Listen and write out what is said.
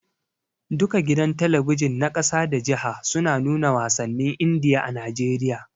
Duka gidan talabijin na ƙasa da jiha suna nuna wasannin Indiya a Najeriya.